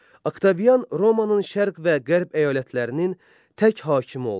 Oktavian Romanın şərq və qərb əyalətlərinin tək hakimi oldu.